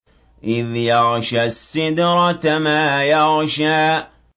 إِذْ يَغْشَى السِّدْرَةَ مَا يَغْشَىٰ